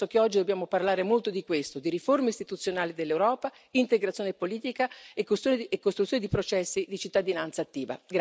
Io penso che oggi dobbiamo parlare molto di questo, di riforme istituzionali dell'Europa, integrazione politica e costruzione di processi di cittadinanza attiva.